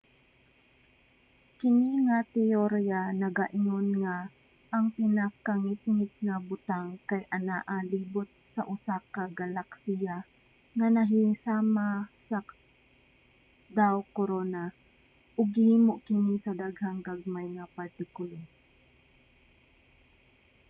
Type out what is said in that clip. kini nga teyorya nagaingon nga ang pinakangitngit nga butang kay anaa libot sa usa ka galaksiya nga nahisama sa daw-korona ug gihimo kini sa daghang gagmay nga partikulo